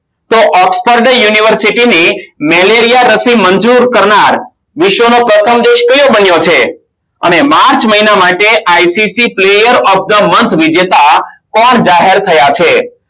તો Expert University ની malaria રશિ મંજુર કરનાર વિશ્વનો પ્રથમ દેશ કયો બન્યો છે અને માર્ચ મહિના માટે its peyar off the one વિજેતા પણ જાહેર થયા છે